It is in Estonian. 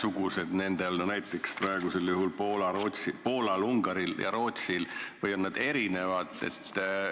On need nendel ühesugused, näiteks praegusel juhul Poolal, Ungaril ja Rootsil, või on need erinevad?